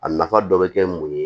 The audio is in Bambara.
A nafa dɔ bɛ kɛ mun ye